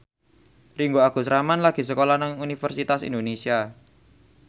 Ringgo Agus Rahman lagi sekolah nang Universitas Indonesia